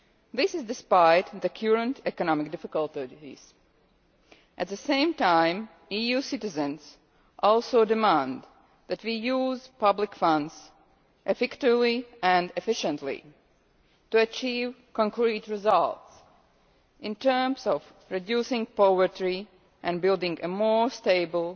This is despite the current economic difficulties. At the same time, EU citizens also demand that we use public funds effectively and efficiently to achieve concrete results in terms of reducing poverty and building a more stable,